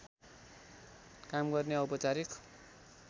काम गर्ने औपचारिक